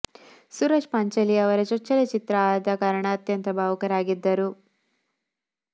ಸೂರಜ್ ಪಾಂಚಾಲಿ ಅವರ ಚೋಚ್ಚನ ಚಿತ್ರ ಆದ ಕಾರಣ ಅತ್ಯಂತ ಭಾವುಕರಾಗಿದ್ದರು